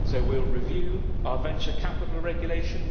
We will review our Venture Capital Regulation